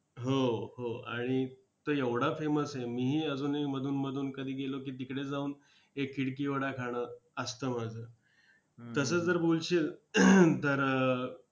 हो हो आणि तो एवढा famous आहे, मीही अजूनही अधूनमधून कधी गेलो की तिकडे जाऊन एक खिडकी वडा खाणं असतं माझं! तसं जर बोलशील तर